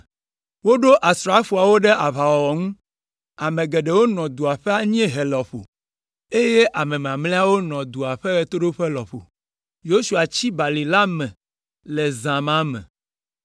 Woɖo asrafoawo ɖe aʋawɔwɔ ŋu, ame geɖewo nɔ dua ƒe anyiehe lɔƒo, eye mamlɛawo nɔ dua ƒe ɣetoɖoƒe lɔƒo. Yosua tsi balime la le zã ma me.